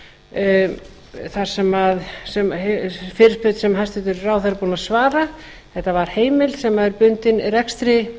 af decode fyrirspurn sem hæstvirtur ráðherra er búinn að svara þetta var heimild sem var bundin rekstri